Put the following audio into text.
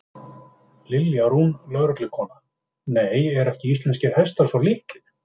Lilja Rún, lögreglukona: Nei, eru ekki íslenskir hestar svo litlir?